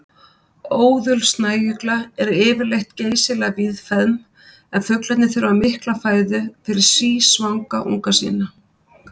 Óðul snæugla eru yfirleitt geysilega víðfeðm en fuglarnir þurfa mikla fæðu fyrir sísvanga unga sína.